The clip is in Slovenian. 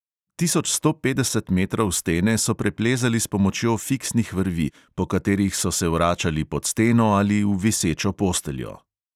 Tisoč sto petdeset metrov stene so preplezali s pomočjo fiksnih vrvi, po katerih so se vračali pod steno ali v visečo posteljo.